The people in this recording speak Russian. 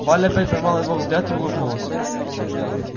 валя опять поймала его взгляд и улыбнулась